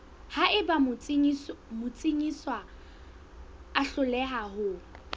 haeba motsekiswa a hloleha ho